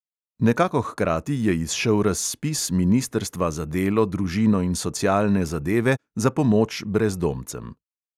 Nekako hkrati je izšel razpis ministrstva za delo, družino in socialne zadeve za pomoč brezdomcem.